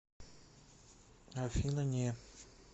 афина не